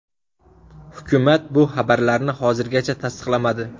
Hukumat bu xabarlarni hozircha tasdiqlamadi.